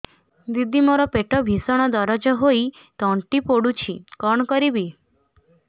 ଦିଦି ମୋର ପେଟ ଭୀଷଣ ଦରଜ ହୋଇ ତଣ୍ଟି ପୋଡୁଛି କଣ କରିବି